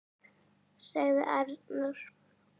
sagði Arnór.